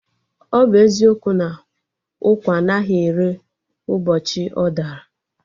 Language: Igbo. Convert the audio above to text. Ọ bụ eziokwu na ụkwa anaghị ere ụbọchị ọ dara?